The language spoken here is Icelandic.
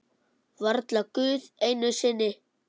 Varla Guð einu sinni!